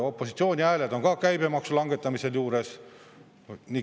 Opositsiooni hääled on ka käibemaksu langetamisel juures.